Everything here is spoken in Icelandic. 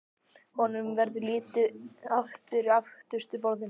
Honum verður litið aftur á öftustu borðin í gluggaröðinni.